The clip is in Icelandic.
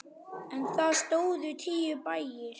En þar stóðu tíu bæir.